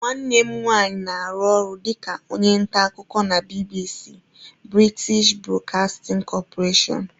Nwanne m nwanyị na-arụ ọrụ dịka onye nta akụkọ na BBC(British Broadcasting Corporation)